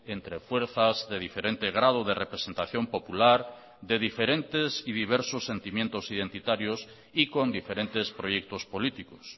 entre fuerzas de diferente grado de representación popular de diferentes y diversos sentimientos identitarios y con diferentes proyectos políticos